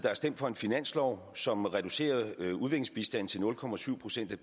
har stemt for en finanslov som reducerer udviklingsbistanden til nul procent procent af